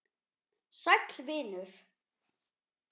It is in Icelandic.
Sæll vinur